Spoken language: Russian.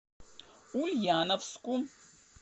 ульяновску